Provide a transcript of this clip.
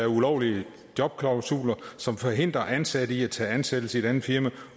ulovlige jobklausuler som forhindrer ansatte i at tage ansættelse i et andet firma